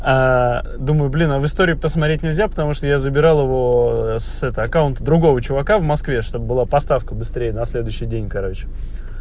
думаю блин а в истории посмотреть нельзя потому что я забирал его с это аккаунта другого чувака в москве чтобы была поставка быстрее на следующий день короче